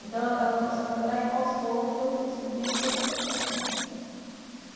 Então ela começou a trabalhar e aos poucos eu fui descobrindo e perguntei para ela.